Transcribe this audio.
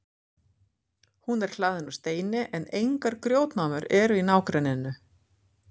hún er hlaðin úr steini en engar grjótnámur eru í nágrenninu